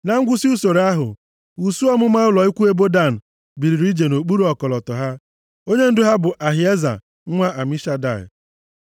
Na ngwụsị usoro ahụ, usuu ọmụma ụlọ ikwu ebo Dan biliri ije nʼokpuru ọkọlọtọ ha. Onyendu ha bụ Ahieza nwa Amishadai.